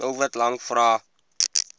doelwit lang vrae